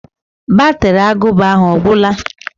Batri agụba ahụ ọ gwụla?